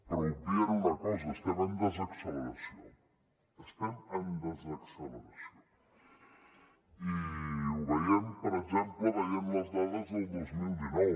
però obvien una cosa estem en desacceleració estem en desacceleració i ho veiem per exemple veient les dades del dos mil dinou